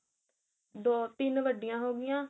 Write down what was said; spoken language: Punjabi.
ਦੋ ਤਿੰਨ ਵੱਡੀਆਂ ਹੋ ਗਈਆਂ